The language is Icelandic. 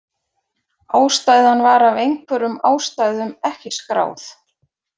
Ástæðan var af einhverjum ástæðum ekki skráð.